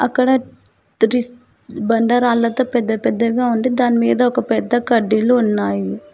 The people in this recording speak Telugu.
ఇక్కడ తట్ ఇస్ బండరాళ్లతో పెద్దపెద్దగా ఉండి దానిమీద ఒక పెద్ద కడ్డిలు ఉన్నాయి.